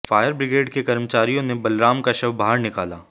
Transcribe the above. fire brigade के कर्मचारियों ने बलराम का शव बाहर निकाला